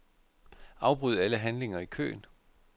Afbryd alle handlinger i køen.